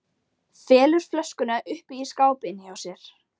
Felur flöskuna uppi í skáp inni hjá sér.